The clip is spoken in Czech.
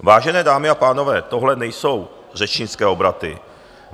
Vážené dámy a pánové, tohle nejsou řečnické obraty.